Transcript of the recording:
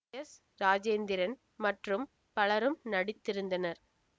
S Rajendran மற்றும் பலரும் நடித்திருந்தனர்